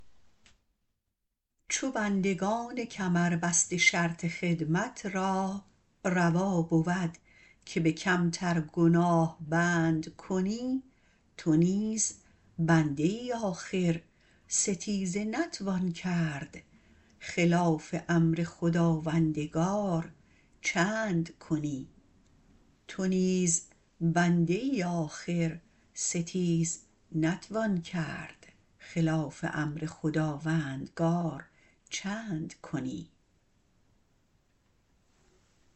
چو بندگان کمر بسته شرط خدمت را روا بود که به کمترگناه بند کنی تو نیز بنده ای آخر ستیز نتوان برد خلاف امر خداوندگار چند کنی